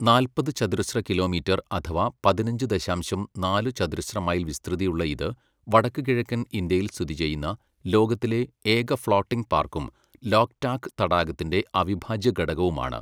നാൽപ്പത് ചതുരശ്ര കിലോമീറ്റർ അഥവാ പതിനഞ്ച് ദശാംശം നാല് ചതുരശ്ര മൈൽ വിസ്തൃതിയുള്ള ഇത്, വടക്കുകിഴക്കൻ ഇന്ത്യയിൽ സ്ഥിതിചെയ്യുന്ന ലോകത്തിലെ ഏക ഫ്ലോട്ടിംഗ് പാർക്കും ലോക്ടാക് തടാകത്തിന്റെ അവിഭാജ്യ ഘടകവുമാണ്.